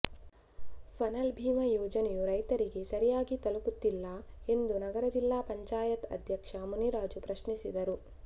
ಫಸಲ್ ಭೀಮಾ ಯೋಜನೆಯು ರೈತರಿಗೆ ಸರಿಯಾಗಿ ತಲಪುತ್ತಿಲ್ಲ ಎಂದು ನಗರ ಜಿಲ್ಲಾ ಪಂಚಾಯತ್ ಅಧ್ಯಕ್ಷ ಮುನಿರಾಜು ಪ್ರಶ್ನಿಸಿದರು